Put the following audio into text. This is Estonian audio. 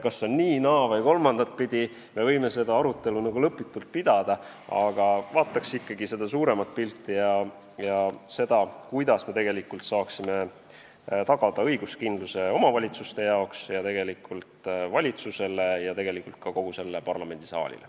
Kas see on nii-, naa- või kolmandatpidi, me võime seda arutelu nagu lõputult pidada, aga vaataks ikkagi suuremat pilti ja seda, kuidas me tegelikult saaksime tagada õiguskindluse omavalitsustele, samuti valitsusele ja tegelikult ka kogu sellele parlamendisaalile.